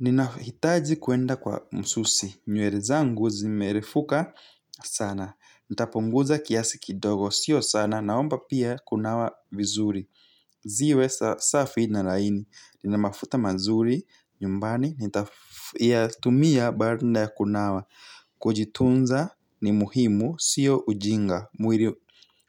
Nina hitaji kuenda kwa msusi. Nywere zangu zimerefuka sana. Nitapunguza kiasi kidogo sio sana. Naomba pia kunawa vizuri. Ziwe safi na laini. Nina mafuta mazuri. Nyumbani, nitaywtumia baada ya kunawa. Kujitunza ni muhimu sio ujinga. Mwiri